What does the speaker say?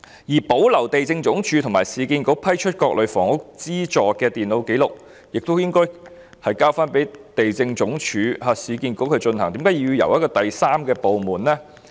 此外，保存地政總署和市建局批出各類房屋資助的電腦紀錄，這項工作亦應該交回地政總署和市建局負責，為何要由第三個部門處理呢？